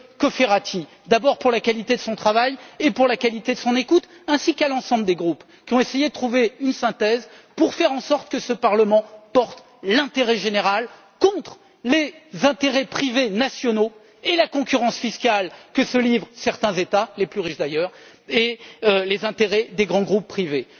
Cofferati, pour la qualité de son travail et de son écoute, ainsi qu'à l'ensemble des groupes qui ont essayé de trouver une synthèse pour faire en sorte que ce Parlement porte l'intérêt général contre les intérêts privés nationaux et la concurrence fiscale que se livrent certains États les plus riches d'ailleurs et les intérêts des grands groupes privés.